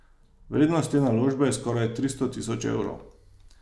Vrednost te naložbe je skoraj tristo tisoč evrov.